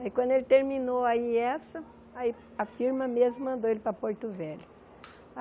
Aí, quando ele terminou aí essa, aí a firma mesmo mandou ele para Porto Velho.